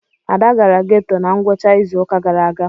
Ada gara geto na ngwụcha izu ụka gara aga.